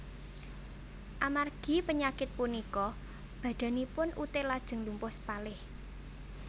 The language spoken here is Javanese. Amargi penyakit punika badanipun Uthe lajeng lumpuh sepalih